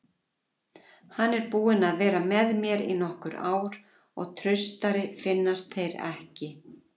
Hann er búinn að vera með mér í nokkur ár og traustari finnast þeir ekki.